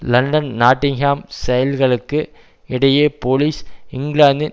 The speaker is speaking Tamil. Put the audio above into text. லண்டன் நாட்டிங்ஹாம் செயல்களுக்கு இடையே போலீஸ் இங்கிலாந்தின்